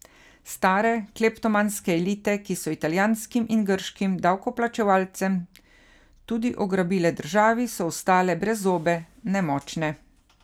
Stare, kleptomanske elite, ki so italijanskim in grškim davkoplačevalcem tudi ugrabile državi, so ostale brezzobe, nemočne.